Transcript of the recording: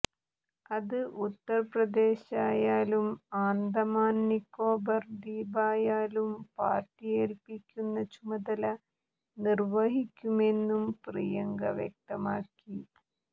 അത് ഉത്തർപ്രദേശായാലും ആന്തമാൻ നിക്കോബാർ ദ്വീപിലായാലും പാർട്ടി ഏൽപ്പിക്കുന്ന ചുമതല നിർവഹിക്കുമെന്നും പ്രിയങ്ക വ്യക്തമാക്കി